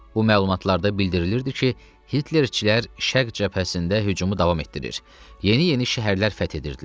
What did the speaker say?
Bu məlumatlarda bildirilirdi ki, Hitlerçilər şərq cəbhəsində hücumu davam etdirir, yeni-yeni şəhərlər fəth edirdilər.